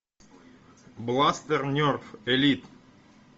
бластер нерф элит